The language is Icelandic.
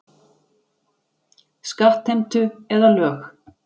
Skattheimtu eða lög.